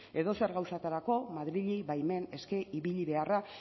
edozer gauzatarako madrili baimen eske ibili beharra